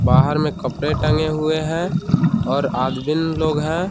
बाहर में कपड़े टंगे हुए हैं और आदमीन लोग हैं।